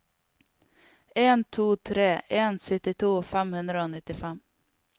en to tre en syttito fem hundre og nittifem